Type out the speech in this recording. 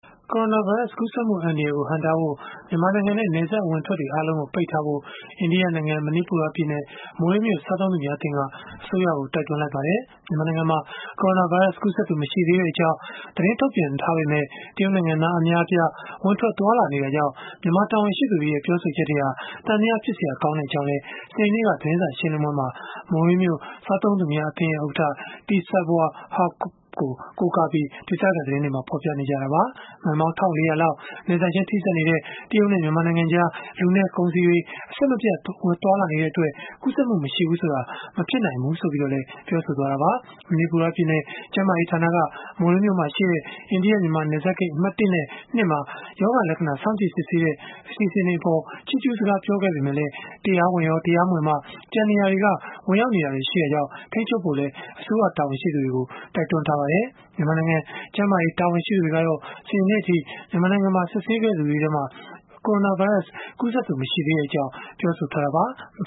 ကိုရိုနာဗိုင်းရပ်စ် ကူးစက်မှု အန္တရာယ်ကို ဟန့်တားဖို့ မြန်မာနိုင်ငံနဲ့ နယ်စပ်အဝင်အထွက်တွေ အားလုံးကို ပိတ်ထားဖို့ အိန္ဒိယနိုင်ငံ မဏိပူရပြည်နယ် မိုရေးမြို့ စားသုံးသူများအသင်းက အစိုးရကို တိုက်တွန်းလိုက်ပါတယ်။ မြန်မာနိုင်ငံမှာ ကိုရိုနာဗိုင်းရပ်စ် ကူးစက်သူ မရှိသေးကြောင်း သတင်းထုတ်ပြန်ထားပေမယ့် တရုတ်နိုင်ငံသား အများအပြား ဝင်ထွက်သွားလာနေတာကြောင့် မြန်မာတာဝန်ရှိသူတွေရဲ့ ပြောဆိုချက်တွေဟာ သံသယဖြစ်စရာ ကောင်းကြောင်းလည်း စနေနေ့က သတင်းစာရှင်းလင်းပွဲမှာ မိုရေးမြို့ စားသုံးသူများအသင်း ဥက္ကဋ္ဌ T Seiboi Haokp ကို ကိုးကားပြီး ဒေသခံသတင်းတွေက ဖော်ပြခဲ့ကြတာပါ။ မိုင်ပေါင်း ၁,၄၀၀ လောက် နယ်စပ်ချင်းထိစပ်နေတဲ့ တရုတ်နဲ့ မြန်မာနိုင်ငံကြား လူနဲ့ ကုန်စည်တွေ အဆက်မပြတ် သွားလာနေတဲ့အတွက် ကူးစက်မှု မရှိဘူးဆိုတာ မဖြစ်နိုင်ဘူးလို့လည်း ပြောဆိုခဲ့တာပါ။ မဏိပူရပြည်နယ် ကျန်းမာရေးဌာနက မိုရေးမြို့မှာရှိတဲ့ အိန္ဒိယ၊ မြန်မာ နယ်စပ်ဂိတ် အမှတ် ၁ နဲ့ ၂ မှာ ရောဂါလက္ခဏာ စောင့်ကြည့်စစ်ဆေးတဲ့ အစီအစဉ်တွေအပေါ် ချီးကျူးစကား ပြောခဲ့ပေမယ့်လည်း တရားဝင်ရော၊ တရားမဝင်ပါ ကျန်နေရာတွေက ဝင်ရောက်နေတာတွေ ရှိတာကြောင့် ထိန်းချုပ်ဖို့လည်း အစိုးရတာဝန်ရှိသူတွေကို တိုက်တွန်းထားပါတယ်။ မြန်မာနိုင်ငံ ကျန်းမာရေး တာဝန်ရှိသူတွေကတော့ စနေနေ့အထိ မြန်မာနိုင်ငံမှာ စစ်ဆေးခဲ့သူတွေထဲမှာ ကိုရိုနာဗိုင်းရပ်စ်ကူးစက်သူ မရှိသေးကြောင်း ပြောဆိုထားတာပါ။